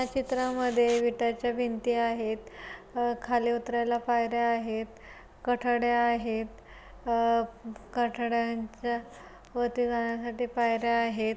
या चित्रामध्ये विटाच्या भिंती आहेत. आ खाली उतरायला पायर्‍या आहेत. कटाडे आहेत. आ कटाडांच्या वरती जाण्यासाठी पायर्‍या आहेत.